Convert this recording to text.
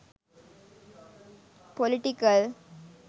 political